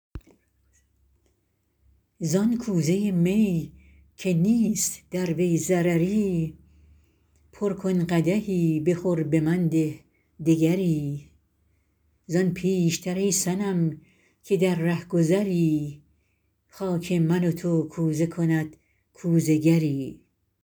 زان کوزه می که نیست در وی ضرری پر کن قدحی بخور به من ده دگری زان پیش تر ای صنم که در رهگذری خاک من و تو کوزه کند کوزه گری